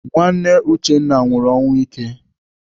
Nwanne Uchenna nwụrụ ọnwụ ike.